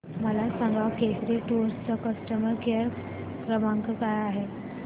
मला सांगा केसरी टूअर्स चा कस्टमर केअर क्रमांक काय आहे